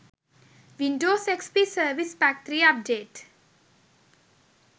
windows xp service pack 3 update